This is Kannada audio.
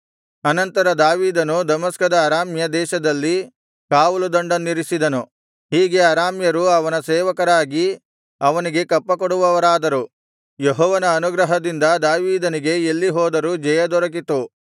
ಅನಂತರ ದಾವೀದನು ದಮಸ್ಕದ ಅರಾಮ್ಯ ದೇಶದಲ್ಲಿ ಕಾವಲುದಂಡನ್ನಿರಿಸಿದನು ಹೀಗೆ ಅರಾಮ್ಯರು ಅವನ ಸೇವಕರಾಗಿ ಅವನಿಗೆ ಕಪ್ಪಕೊಡುವವರಾದರು ಯೆಹೋವನ ಅನುಗ್ರಹದಿಂದ ದಾವೀದನಿಗೆ ಎಲ್ಲಿ ಹೋದರೂ ಜಯದೊರಕಿತು